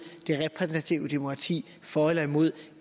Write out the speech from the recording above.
det repræsentative demokrati for eller imod